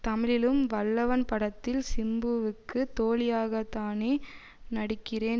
தமிழிலும் வல்லவன் படத்தில் சிம்புவுக்கு தோழியாகதானே நடிக்கிறேன்